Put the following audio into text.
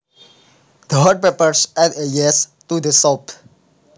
The hot peppers add zest to the soup